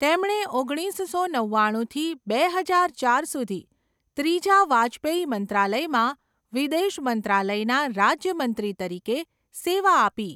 તેમણે ઓગણીસસો નવ્વાણુંથી બે હજાર ચાર સુધી ત્રીજા વાજપેયી મંત્રાલયમાં વિદેશ મંત્રાલયના રાજ્ય મંત્રી તરીકે સેવા આપી.